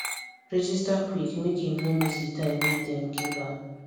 register quick make im no miss the time wey dem give am